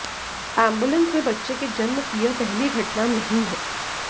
ambulance में बच्चे के जन्म की यह पहली घटना नहीं है